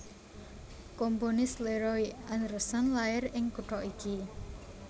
Komponis Leroy Anderson lair ing kutha iki